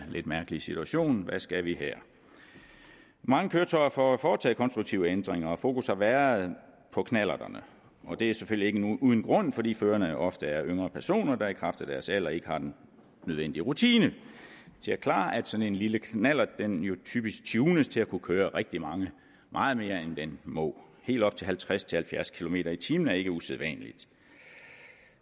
lidt mærkelige situation hvad skal vi her mange køretøjer får foretaget konstruktive ændringer og fokus har været på knallerterne og det er selvfølgelig ikke uden grund fordi førerne jo ofte er yngre personer der i kraft af deres alder ikke har den nødvendige rutine til at klare at sådan en lille knallert typisk tunes til at kunne køre rigtig meget mere end den må helt op til halvtreds til halvfjerds kilometer per time er ikke usædvanligt